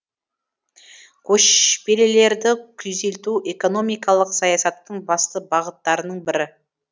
көшпелілерді күйзелту экономикалық саясаттың басты бағыттарының бірі